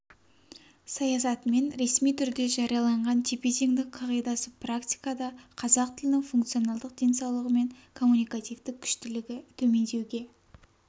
саясатымен ресми түрде жарияланған тепе-теңдік қағидасы практикада қазақ тілінің функционалдық денсаулығы мен коммуникативтік күштілігі төмендеуге